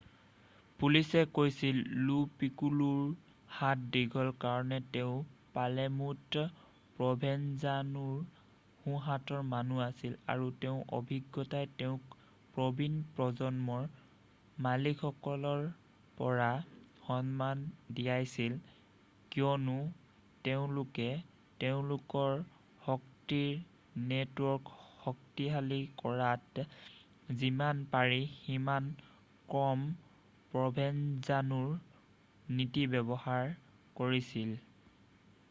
পুলিচে কৈছিল লো পিক্কোলোৰ হাত দীঘল কাৰণ তেওঁ পালেৰ্মোত প্ৰ'ভেনজানোৰ সোঁহাতৰ মানুহ আছিল আৰু তেওঁৰ অভিজ্ঞতাই তেওঁক প্ৰবীণ প্ৰজন্মৰ মালিকসকলৰ পৰা সন্মান দিয়াইছিল কিয়নো তেওঁলোকে তেওঁলোকৰ শক্তিৰ নেটৱৰ্ক শক্তিশালী কৰাত যিমান পাৰি সিমান কম প্ৰ'ভেনজানোৰ নীতি ব্যৱহাৰ কৰিছিল